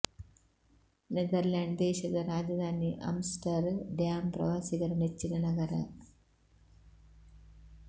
neither land ದೇಶದ ರಾಜಧಾನಿ Amsterdam ಪ್ರವಾಸಿಗರ ನೆಚ್ಚಿನ ನಗರ